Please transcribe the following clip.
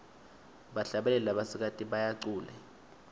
bahlabeli labasikati bayacule